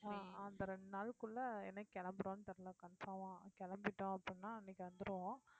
அஹ் அந்த ரெண்டு நாளுக்குள்ள என்னைக்கு கிளம்புறோம்னு தெரியல confirm அ கிளம்பிட்டோம் அப்படின்னா அன்னைக்கு வந்துருவோம்